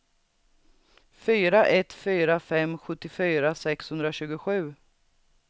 fyra ett fyra fem sjuttiofyra sexhundratjugosju